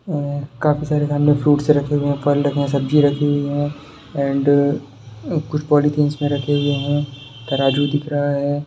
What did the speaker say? काफ़ी सारे सामने फ्रूट्स रखे हुए हैं फल रखे हुए हैं सब्जी रखी हुई हैं एंड कुछ पॉलिथिंस मे रखे हुए हैं तराजू दिख रहा है।